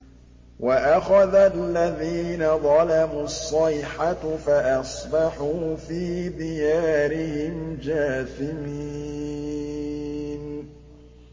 وَأَخَذَ الَّذِينَ ظَلَمُوا الصَّيْحَةُ فَأَصْبَحُوا فِي دِيَارِهِمْ جَاثِمِينَ